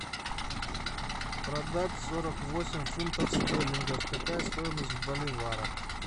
продать сорок восемь фунтов стерлингов какая стоимость в боливарах